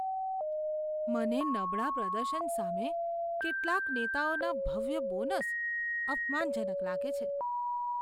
મને નબળા પ્રદર્શન સામે કેટલાક નેતાઓના ભવ્ય બોનસ અપમાનજનક લાગે છે.